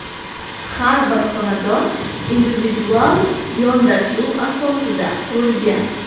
Har bir xonadon individual yondashuv asosida qurilgan.